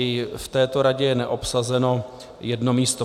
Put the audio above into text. I v této radě je neobsazeno jedno místo.